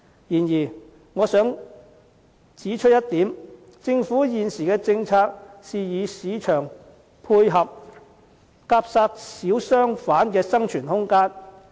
然而，我想指出一點，政府現時的政策是與市場配合，夾殺小商販的生存空間。